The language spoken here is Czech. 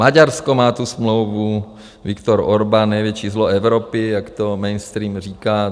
Maďarsko má tu smlouvu, Viktor Orbán, největší zlo Evropy, jak to mainstream říká.